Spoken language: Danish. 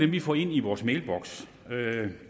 vi får ind i vores mailboks